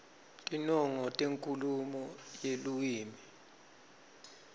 tinongo tenkhulumo yeluwimi